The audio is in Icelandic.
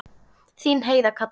Þín Heiða Katrín.